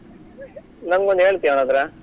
ನಂಗೆ ಒಂದು ಹೇಳ್ತಿಯ ಅವನ್ಹತ್ರ?